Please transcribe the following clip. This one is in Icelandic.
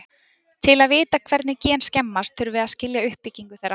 til að vita hvernig gen skemmast þurfum að við að skilja uppbyggingu þeirra